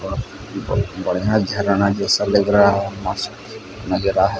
और ब बढ़िया झरना जैसा लग रहा है मस्त नजरा है।